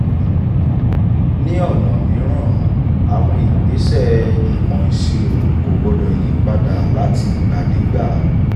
ní ọ̀nà mìíràn àwọn ìgbésẹ̀ ìmọ̀ ìṣirò kò gbọ́dọ̀ yí padà láti ìgbàdégbà.